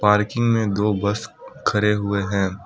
Parking में दो bus खड़े हुए हैं।